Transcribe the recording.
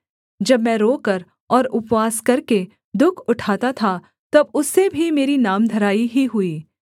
जब मैं रोकर और उपवास करके दुःख उठाता था तब उससे भी मेरी नामधराई ही हुई